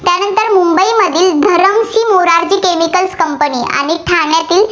आणि ठाण्यातील